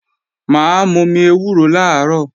Mà á momi ewúro làárọ̀